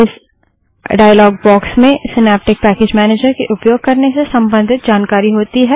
इस dialogue box में Synaptic package manager के उपयोग करने से संबधित जानकारी होती है